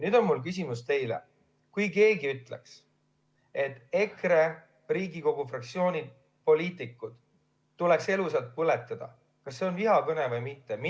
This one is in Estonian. Nüüd on mul teile küsimus: kui keegi ütleks, et EKRE Riigikogu fraktsiooni poliitikud tuleks elusalt põletada, siis kas see on vihakõne või mitte?